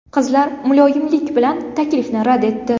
Qizlar muloyimlik bilan taklifni rad etdi.